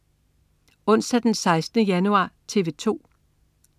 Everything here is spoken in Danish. Onsdag den 16. januar - TV 2: